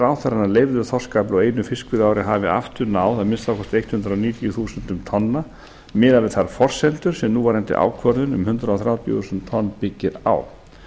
ráðherra að leyfður þorskafli á einu fiskveiðiári hafi aftur náð að minnsta kosti hundrað níutíu þúsund tonnum miðað við þær forsendur sem núverandi ákvörðun um hundrað þrjátíu þúsund tonn byggist á